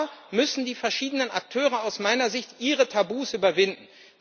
Da müssen die verschiedenen Akteure aus meiner Sicht ihre Tabus überwinden.